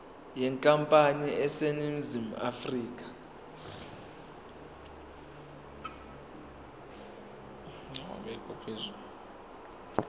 yenkampani eseningizimu afrika